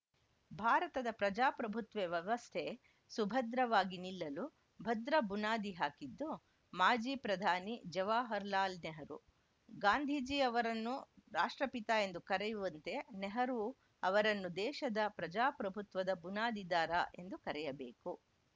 ಭಾರತದ ಪ್ರಜಾಪ್ರಭುತ್ವೇ ವ್ಯವಸ್ಥೆ ಸುಭದ್ರವಾಗಿ ನಿಲ್ಲಲು ಭದ್ರ ಬುನಾದಿ ಹಾಕಿದ್ದು ಮಾಜಿ ಪ್ರಧಾನಿ ಜವಾಹರ್‌ಲಾಲ್‌ ನೆಹರು ಗಾಂಧೀಜಿ ಅವರನ್ನು ರಾಷ್ಟ್ರಪಿತ ಎಂದು ಕರೆಯುವಂತೆ ನೆಹರೂ ಅವರನ್ನು ದೇಶದ ಪ್ರಜಾಪ್ರಭುತ್ವದ ಬುನಾದಿದಾರ ಎಂದು ಕರೆಯಬೇಕು